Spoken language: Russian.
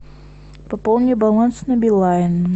пополни баланс на билайн